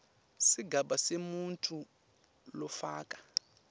sigaba semuntfu lofaka